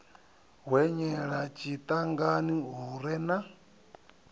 hwenyela tshiṱangani hu re na